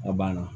A banna